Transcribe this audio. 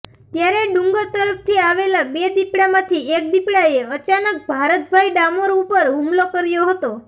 ત્યારે ડુંગર તરફથી આવેલા બે દીપડામાંથી એક દીપડાએ અચાનક ભારતભાઈ ડામોર ઉપર હુમલો કર્યો હતો